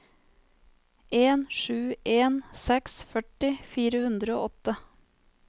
en sju en seks førti fire hundre og åtte